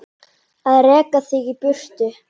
Að reka þig í burtu!